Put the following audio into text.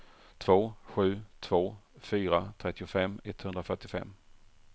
två sju två fyra trettiofem etthundrafyrtiofem